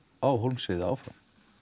á Hólmsheiði áfram